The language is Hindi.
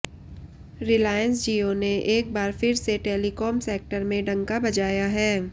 रिलायंस जियो ने एक बार फिर से टेलिकॉम सेक्टर में डंका बजाया है